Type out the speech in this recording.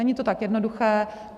Není to tak jednoduché.